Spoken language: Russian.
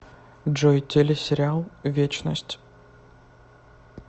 джой теле сериал вечность